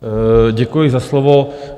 Děkuji za slovo.